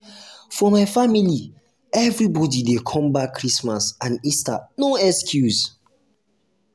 for my family everbodi dey come back christmas and easter no excuse.